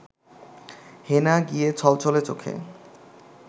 হেনা গিয়ে ছলছলে চোখে